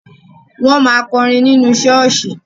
Wọ́n máa kọrin nínú ṣọ́ọ̀ṣì.